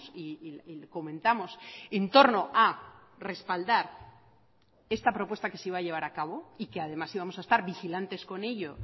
y comentamos en torno a respaldar esta propuesta que se iba a llevar a cabo y que además íbamos a estar vigilantes con ello